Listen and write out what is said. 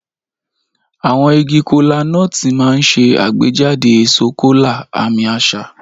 Àwọn igi Kola-nut máa ń ṣe àgbéjáde èso kola, àmì àṣà.